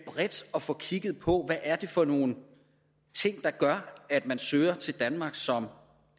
bredt at få kigget på hvad det er for nogle ting der gør at man søger til danmark som